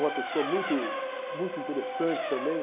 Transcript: Uma pessoa muito muito interessante também.